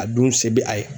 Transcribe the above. A dun se bɛ a ye